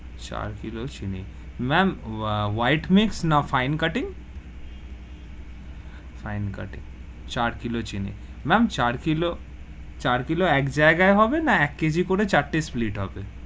চার কিলো চিনি, ma'am white mix না fine cutting fine cutting চার কিলো চিনি, ma'am চার কিলো চার কিলো, এক জায়গায় হবে, না এক KG করে চারটে split হবে,